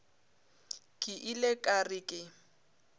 ke ile ka re ke